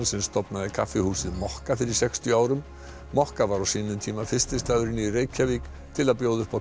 sem stofnaði kaffihúsið mokka fyrir sextíu árum mokka var á sínum tíma fyrsti staðurinn í Reykjavík til að bjóða upp á